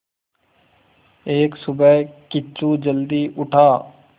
एक सुबह किच्चू जल्दी उठा